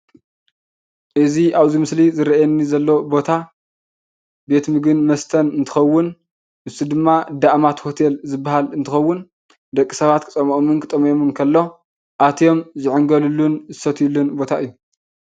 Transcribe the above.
እዚ አብዚ ምስሊ ዝረእየኒ ዘሎ ቦታ ቤት ምግብን መስተን እንትኸውን ንሱ ድማ ደአማተ ሆቴል ዝበሃል እንትኸውን ደቂ ሰባት ክፅምኦምን ክጥምዮምን ከሎ አትዮም ዝዕንገሉሉን ዝሰትዩሉን ቦታ እዩ፡፡